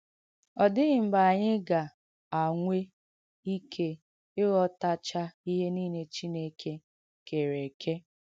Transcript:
Ọ dìghị̀ mgbe ànyị ga-ànwē ìkẹ ìghọ̀tàchà ihe niile Chineke kèrē èkē.